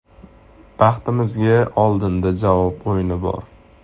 Baxtimizga oldinda javob o‘yini bor.